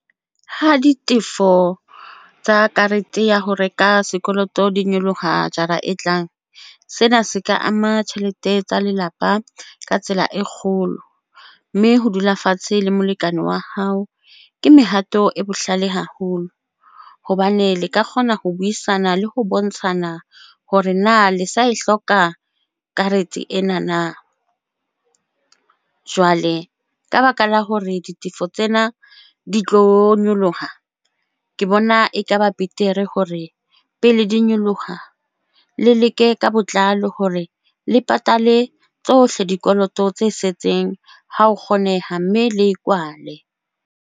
Ha ditefo tsa karete ya ho reka sekoloto di nyoloha jara e tlang. Sena se ka ama tjhelete tsa lelapa ka tsela e kgolo mme ho dula fatshe le molekane wa hao. Ke mehato e bohlale haholo hobane le ka kgona ho buisana le ho bontshana hore na le sa e hloka karete ena na. Jwale ka baka la hore ditefo tsena di tlo nyoloha, Ke bona eka ba betere hore pele di nyoloha, le leke ka botlalo hore le patale tsohle dikoloto tse setseng ha ho kgoneha mme le e kwale.